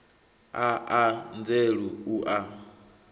a a nzela u a